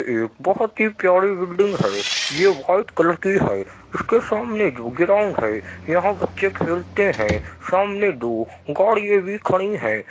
एक बहुत ही प्यारी बिल्डिंग है। ये व्हाइट कलर की है। उसके सामने जो ग्राउंड है यहाँं बच्चे खेलते हैं। सामने दो गाड़ियें भी खड़ी हैं।